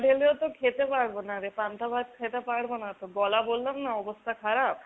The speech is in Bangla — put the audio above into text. ঢেলেও তো খেতে পারবো না রে, পান্তা ভাত খেতে পারবো না তো। গলা বললাম না অবস্থা খারাপ।